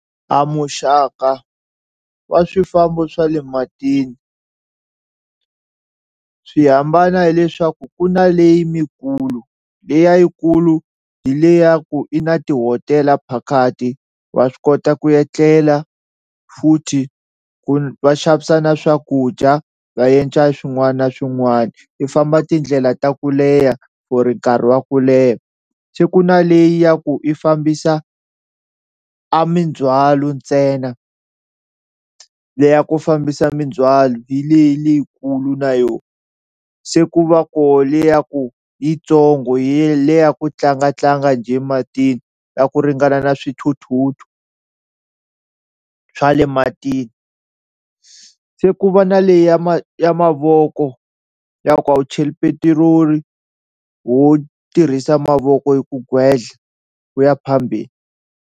A muxaka wa swifambo swa le matini swi hambana hileswaku ku na leyi mikulu liya yikulu hi le ya ku i na tihotela phakathi wa swi kota ku etlela futhi ku va xavisa na swakudya va endla swin'wana na swin'wana i famba tindlela ta ku leha for nkarhi wa ku leha, se ku na leyi ya ku i fambisa a mindzwalo ntsena leya ku fambisa mindzwalo hi leyi leyikulu na yoho se ku va koho liya ya ku yitsongo ya le ya ku tlangatlanga njhe matini na ku ringana na swithuthuthu swa le matini, se ku va na leyi ya ma ya mavoko ya ku a wu cheli petiroli wo tirhisa mavoko hi ku gwedla u ya phambeni.